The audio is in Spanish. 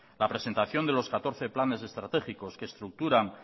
la presentación de los catorce planes de estratégicos que estructuran